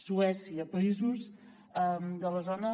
suècia països de la zona